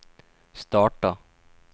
starta